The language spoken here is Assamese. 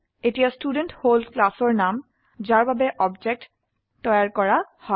এতিয়া ষ্টুডেণ্ট হল ক্লাসৰ নাম যাৰ বাবে অবজেক্ট তৈয়াৰ কৰা হয়